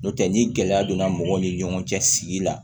N'o tɛ ni gɛlɛya donna mɔgɔw ni ɲɔgɔn cɛ sigi la